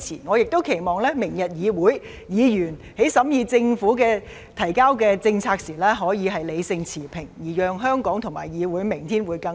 我亦期望明日議會審議政府提交的政策時，議員可以理性持平，讓香港和議會明天會更好。